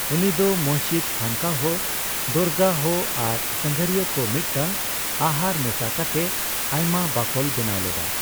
ᱩᱱᱤ ᱫᱚ ᱢᱚᱥᱡᱤᱛ, ᱠᱷᱟᱱᱠᱟᱦᱚ, ᱫᱚᱨᱜᱟᱦᱚ ᱟᱨ ᱥᱟᱸᱜᱷᱟᱨᱤᱭᱟᱹ ᱠᱚ ᱢᱤᱫᱴᱟᱝ ᱟᱦᱟᱨ ᱢᱮᱥᱟ ᱠᱟᱛᱮᱜ ᱟᱭᱢᱟ ᱵᱟᱠᱳᱞ ᱵᱮᱱᱟᱣ ᱞᱮᱫᱟᱭ ᱾